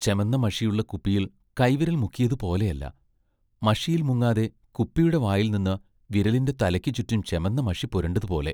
ചെമന്ന മഷിയുള്ള കുപ്പിയിൽ കൈ വിരൽ മുക്കിയതു പോലെയല്ല, മഷിയിൽ മുങ്ങാതെ കുപ്പിയുടെ വായിൽ നിന്ന് വിരലിന്റെ തലയ്ക്കു ചുറ്റും ചെമന്ന മഷി പുരണ്ടതു പോലെ....